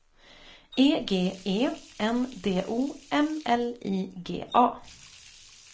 E G E N D O M L I G A